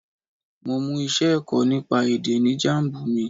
Mo mú iṣẹ́ ẹ̀kọ́ nípa èdè ní Jambu mi.